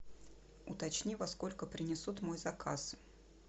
уточни во сколько принесут мой заказ